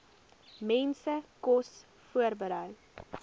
mense kos voorberei